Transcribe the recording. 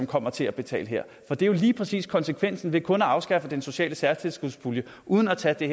kommer til at betale her for det er jo lige præcis konsekvensen af kun at afskaffe den sociale særtilskudspulje uden at tage det